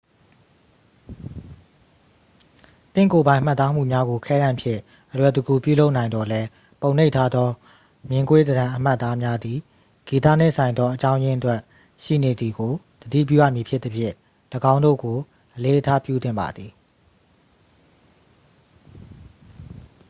သင့်ကိုယ်ပိုင်မှတ်သားမှုများကို ခဲတံဖြင့် အလွယ်တကူပြုလုပ်နိုင်သော်လည်း ပုံနှိပ်ထားသော မျဉ်းကွေးသဏ္ဍန်အမှတ်အသားများသည် ဂီတနှင့်ဆိုင်သော အကြောင်းရင်းအတွက်ရှိနေသည်ကို သတိပြုရမည်ဖြစ်သဖြင့် ၎င်းတို့ကို အလေးအထားပြုသင့်ပါသည်